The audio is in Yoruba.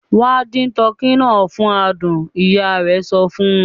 "Wà á dín tọkî náà fún àádùn!" Ìyá rẹ̀ sọ fún.